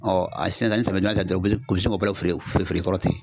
a sisan sisan ni samiya donda sera dɔrɔn u bɛ se feere feere i kɔrɔ ten